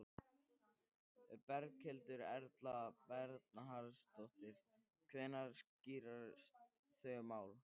Berghildur Erla Bernharðsdóttir: Hvenær skýrast þau mál?